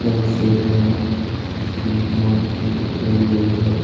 यह एक शेर है जिसकी मूर्ति करी गई है।